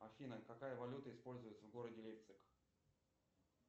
афина какая валюта используется в городе лейпциг